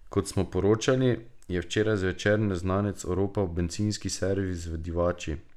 Kot smo poročali, je včeraj zvečer neznanec oropal bencinski servis v Divači.